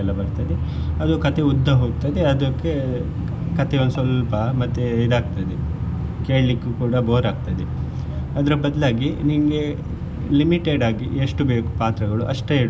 ಬರ್ತದೆ ಅದು ಕಥೆ ಉದ್ದ ಹೋಗ್ತದೆ ಅದಕ್ಕೆ ಕಥೆ ಒಂದ್ಸ್ವಲ್ಪ ಮತ್ತೆ ಇದ್ ಆಗ್ತದೆ ಕೇಳ್ಲಿಕ್ಕು ಕೂಡ bore ಆಗ್ತದೆ ಅದ್ರ ಬದ್ಲಾಗಿ ನಿಮ್ಗೆ limited ಆಗಿ ಎಷ್ಟು ಬೇಕು ಪಾತ್ರಗಳು ಅಷ್ಟೇ ಇಡು.